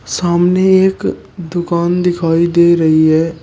सामने एक दुकान दिखाई दे रही है।